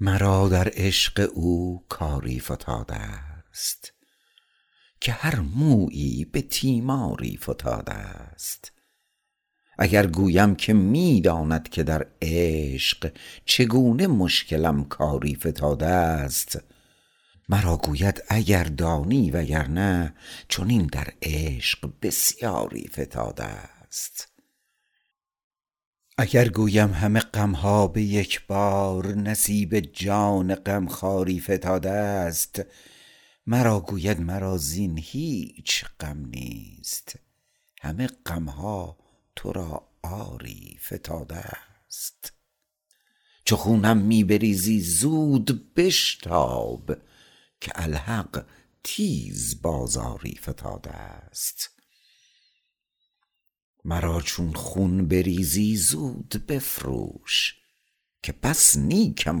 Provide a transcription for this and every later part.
مرا در عشق او کاری فتادست که هر مویی به تیماری فتادست اگر گویم که می داند که در عشق چگونه مشکلم کاری فتادست مرا گوید اگر دانی وگرنه چنین در عشق بسیاری فتادست اگر گویم همه غمها به یک بار نصیب جان غمخواری فتادست مرا گوید مرا زین هیچ غم نیست همه غمها تو را آری فتادست چو خونم می بریزی زود بشتاب که الحق تیز بازاری فتادست مرا چون خون بریزی زود بفروش که بس نیکم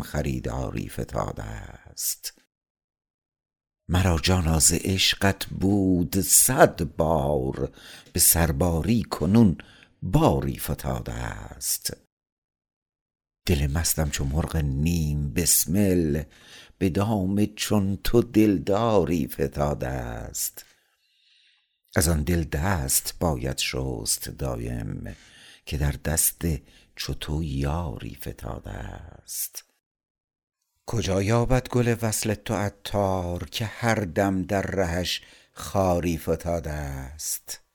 خریداری فتادست مرا جانا ز عشقت بود صد بار به سرباری کنون باری فتادست دل مستم چو مرغ نیم بسمل به دام چون تو دلداری فتادست از آن دل دست باید شست دایم که در دست چو تو یاری فتادست کجا یابد گل وصل تو عطار که هر دم در رهش خاری فتادست